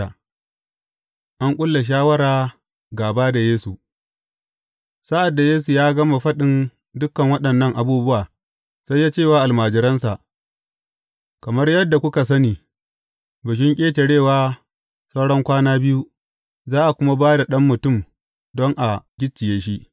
An ƙulla shawara gāba da Yesu Sa’ad da Yesu ya gama faɗin dukan waɗannan abubuwa, sai ya ce wa almajiransa, Kamar yadda kuka sani, Bikin Ƙetarewa sauran kwana biyu, za a kuma ba da Ɗan Mutum don a gicciye shi.